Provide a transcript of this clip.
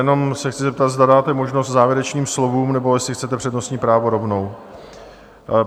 Jenom se chci zeptat, zda dáte možnost závěrečným slovům, nebo jestli chcete přednostní právo rovnou?